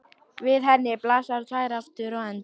Við henni blasa tveir aftur endar.